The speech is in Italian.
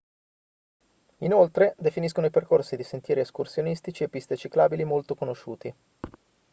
inoltre definiscono i percorsi di sentieri escursionistici e piste ciclabili molto conosciuti